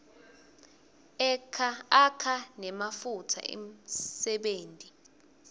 akha nematfuba emsebenti